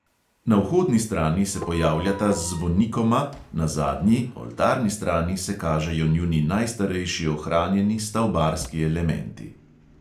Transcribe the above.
Na vhodni strani se pojavljata z zvonikoma, na zadnji, oltarni strani se kažejo njuni najstarejši ohranjeni stavbarski elementi.